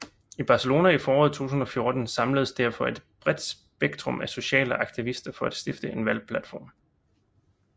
I Barcelona i foråret 2014 samledes derfor et bredt spektrum af sociale aktivister for at stifte en valgplatform